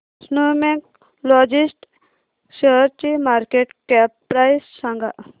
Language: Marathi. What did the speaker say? स्नोमॅन लॉजिस्ट शेअरची मार्केट कॅप प्राइस सांगा